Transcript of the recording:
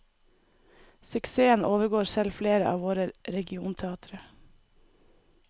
Suksessen overgår selv flere av våre regionteatre.